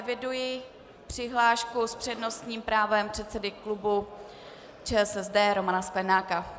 Eviduji přihlášku s přednostním právem předsedy klubu ČSSD Romana Sklenáka.